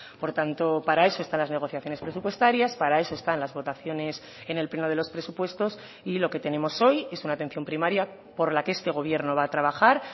por tanto para eso están las negociaciones presupuestarias para eso están las votaciones en el pleno de los presupuestos y lo que tenemos hoy es una atención primaria por la que este gobierno va a trabajar